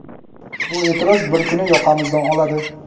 bu eʼtiroz bir kuni yoqamizdan oladi.